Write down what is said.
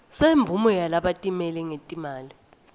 semvumo yalabatimele ngetimali